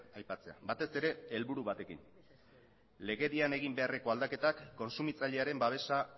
aipatzea batez ere helburu batekin legedian egin beharreko aldaketak kontsumitzailearen babesa